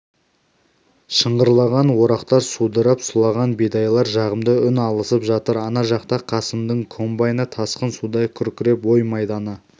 шыңғырлаған орақтар судырап сұлаған бидайлар жағымды үн алысып жатыр ана жақта қасымның комбайны тасқын судай күркіреп ой майданы